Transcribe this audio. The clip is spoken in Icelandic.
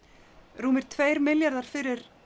rúmir tveir milljarðar fyrir